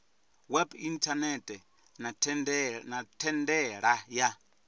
web inthanethe na thendela ya